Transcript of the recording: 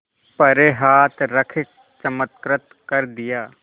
पर हाथ रख चमत्कृत कर दिया